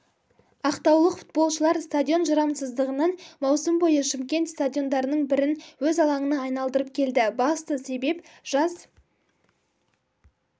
ақтаулық футболшылар стадион жарамсыздығынан маусым бойы шымкент стадиондарының бірін өз алаңына айналдырып келді басты себеп жас